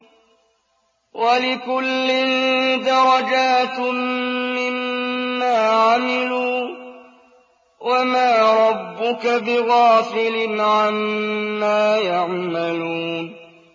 وَلِكُلٍّ دَرَجَاتٌ مِّمَّا عَمِلُوا ۚ وَمَا رَبُّكَ بِغَافِلٍ عَمَّا يَعْمَلُونَ